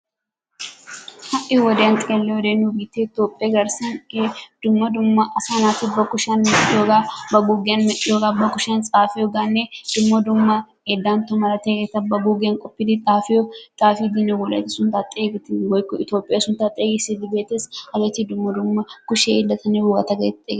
Ha'i wodiya xeeliyoode nu biitte Toophee garssan dumma dumma asaa naati ba kushiyaan medhdhiyooha, ba guugiiyan medhdhiyooga, ba kushiyaan xaafiyooganne dumma dumma dantto malatiyaageeta ga guugiyan qopidi xaafiyo xaafidinne Wolaytta sunttaa xeegissidinne woykko Itoophiyaa sunttaa xeegissidi beettees. Hageeta dumma dumma kushe hiilatanne wogata getettiyaageeta.